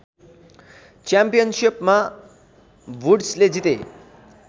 च्याम्पियनसिपमा वुड्सले जिते